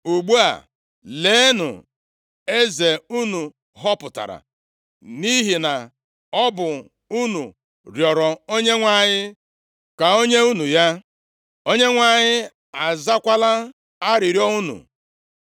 Ugbu a, leenụ eze unu họpụtara, nʼihi na ọ bụ unu rịọrọ Onyenwe anyị ka o nye unu ya; Onyenwe anyị azakwala arịrịọ unu.